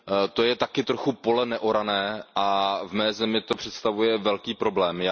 To je taky trochu pole neorané a v mé zemi to představuje velký problém.